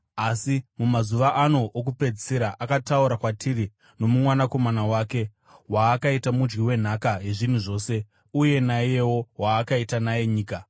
asi mumazuva ano okupedzisira akataura kwatiri nomuMwanakomana wake, waakaita mudyi wenhaka yezvinhu zvose, uye naiyewo waakaita naye nyika.